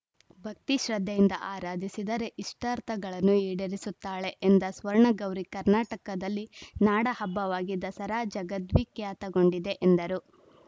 ಭಕ್ತಿ ಶ್ರದ್ಧೆಯಿಂದ ಆರಾಧಿಸಿದರೆ ಇಷ್ಟಾರ್ಥಗಳನ್ನು ಇಡೇರಿಸುತ್ತಾಳೆ ಎಂದ ಸ್ವರ್ಣಗೌರಿ ಕರ್ನಾಟಕದಲ್ಲಿ ನಾಡ ಹಬ್ಬವಾಗಿ ದಸರಾ ಜಗದ್ವಿಖ್ಯಾತಗೊಂಡಿದೆ ಎಂದರು